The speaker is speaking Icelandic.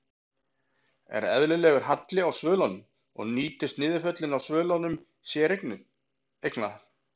Er eðlilegur halli á svölum og nýtast niðurföll á svölum séreigna?